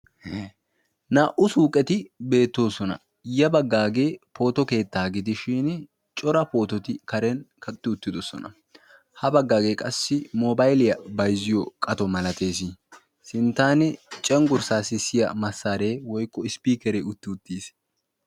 Naa'u suuqeti beettoosona. Ya baggaagee pooto keettaa gidi shin cora poototi karen kaqqetti uttidosona. Ha baggaagee qassi mobailiyaa bayzziyo qato malatees. Sinttan cenggurssaa sissiya massaaree woykko isipikere utti-uttiis.